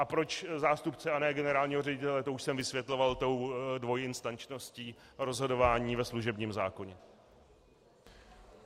A proč zástupce a ne generálního ředitele, to už jsem vysvětloval tou dvojinstančností rozhodování ve služebním zákoně.